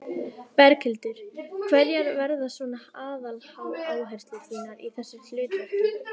Berghildur: Hverjar verða svona aðaláherslur þínar í þessu hlutverki?